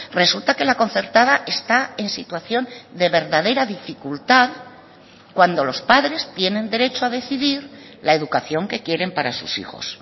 resulta que la concertada está en situación de verdadera dificultad cuando los padres tienen derecho a decidir la educación que quieren para sus hijos